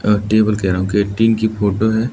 और टेबल के आगे एक टीन की फोटो है।